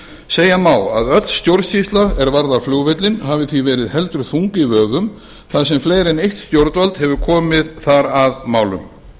segja má að öll stjórnsýsla er varðar flugvöllinn hafi því verið heldur þung í vöfum þar sem fleiri en eitt stjórnvald hefur komið þar að málum ljóst